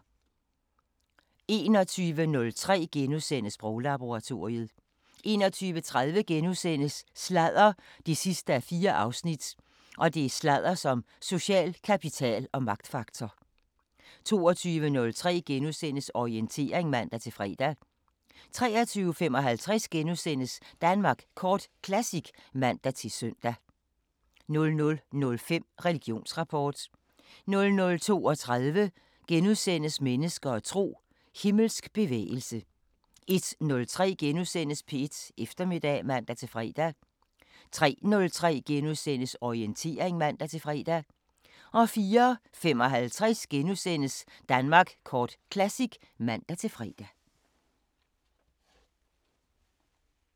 21:03: Sproglaboratoriet * 21:30: Sladder 4:4: Sladder som social kapital og magtfaktor * 22:03: Orientering *(man-fre) 23:55: Danmark Kort Classic *(man-søn) 00:05: Religionsrapport 00:32: Mennesker og tro: Himmelsk bevægelse * 01:03: P1 Eftermiddag *(man-fre) 03:03: Orientering *(man-fre) 04:55: Danmark Kort Classic *(man-fre)